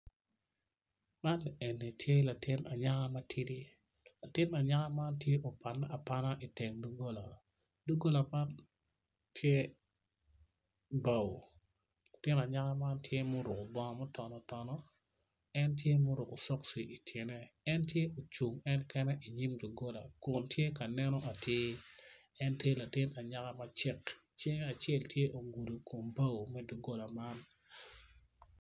Man eni tye latin anyaka matidi latin anyaka man tye ma opanne apana idogola dogola man tye bao latin anyaka man tye ma oruko bongo ma oton otono en tye ma oruko cokci ityene en tye ocung en kene idogola kun tye ka neno atir en tye latin anyaka macek cinge acel ogudo kom bao me dogola man.